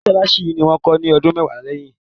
Mọ́ṣálásí yìí ni wón kó ní ọdún mọ́kànlá sẹ́yìn.